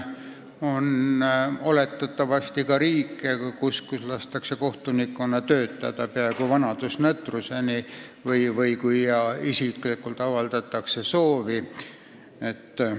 Oletatavasti on ka riike, kus lastakse kohtunikkonnal töötada peaaegu vanadusnõtruseni või seni, kuni isiklikult avaldatakse soovi lahkuda.